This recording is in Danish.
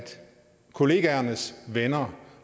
kollegaernes venner